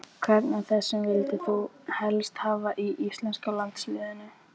Hvern af þessum vildir þú helst hafa í íslenska landsliðinu?